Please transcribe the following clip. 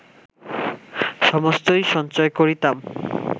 সমস্তই সঞ্চয় করিতাম